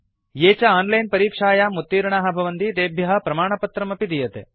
ये च आनलैन परीक्षायां उत्तीर्णाः भवन्ति तेभ्यः प्रमाणपत्रमपि दीयते